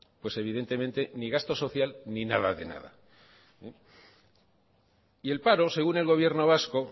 pues evidentemente ni gasto social ni nada de nada el paro según el gobierno vasco